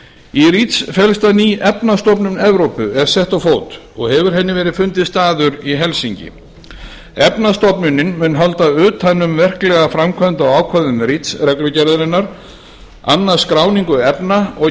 í reach felst að ný efnastofnun evrópu er sett á fót og hefur henni verið fundinn staður í helsinki efnastofnunin mun halda utan um verklega framkvæmd á ákvæðum reach reglugerðarinnar annast skráningu efna og